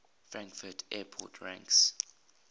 frankfurt airport ranks